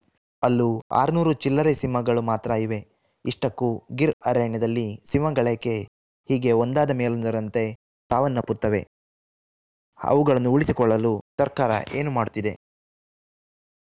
ಅಲ್ಲೂ ಆರುನೂರು ಚಿಲ್ಲರೆ ಸಿಂಹಗಳು ಮಾತ್ರ ಇವೆ ಇಷ್ಟಕ್ಕೂ ಗಿರ್‌ ಅರಣ್ಯದಲ್ಲಿ ಸಿಂಹಗಳೇಕೆ ಹೀಗೆ ಒಂದಾದ ಮೇಲೊಂದರಂತೆ ಸಾವನ್ನಪ್ಪುತ್ತವೆ ಅವುಗಳನ್ನು ಉಳಿಸಿಕೊಳ್ಳಲು ಸರ್ಕಾರ ಏನು ಮಾಡುತ್ತಿದೆ